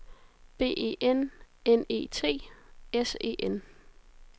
B E N N E T S E N